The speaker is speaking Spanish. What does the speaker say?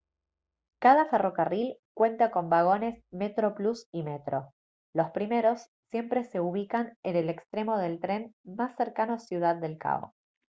cada ferrocarril cuenta con vagones metroplus y metro los primeros siempre se ubican en el extremo del tren más cercano a ciudad del cabo